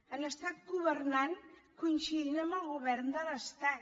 han estat governant coincidint amb el govern de l’estat